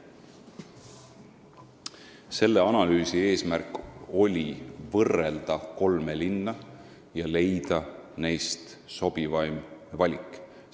Selle analüüsi eesmärk oli võrrelda kolme linna ja teha sobivaim valik.